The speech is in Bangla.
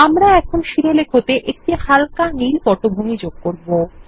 আমরা এখন শিরোলেখ এএকটি হালকা নীল পটভূমি যোগ করব